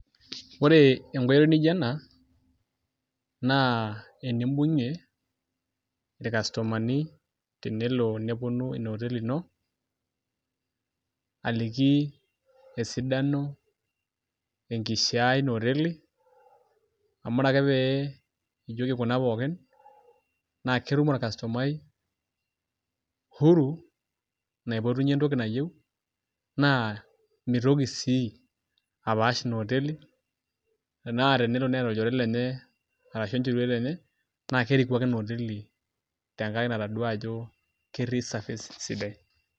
Oree enkoitoi nijo ena naa enimbung'ie ilkastomani tenelo nepuonu inaoteli ino aliki esidano, enkishiaa einooteli amu ore ake pee ijoki kuna pookin naa ketum olkastomai huru naipotunye ntoki nayeu naa mitoki sii apaash inooteli anaa tenelo neeta olchore lenye arashu enchoruet enye naakeriku ake enaoteli tengarake natoduaa ajo ketii service sidai.